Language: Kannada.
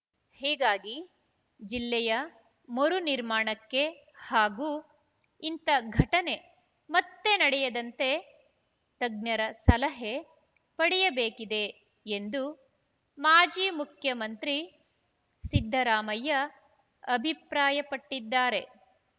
ಹೀಗಾಗಿ ಜಿಲ್ಲೆಯ ಮರು ನಿರ್ಮಾಣಕ್ಕೆ ಹಾಗೂ ಇಂಥ ಘಟನೆ ಮತ್ತೆ ನಡೆಯದಂತೆ ತಜ್ಞರ ಸಲಹೆ ಪಡೆಯಬೇಕಿದೆ ಎಂದು ಮಾಜಿ ಮುಖ್ಯಮಂತ್ರಿ ಸಿದ್ದರಾಮಯ್ಯ ಅಭಿಪ್ರಾಯಪಟ್ಟಿದ್ದಾರೆ